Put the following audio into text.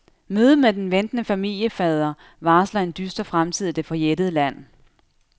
Mødet med den ventende familiefader varsler en dyster fremtid i det forjættede land.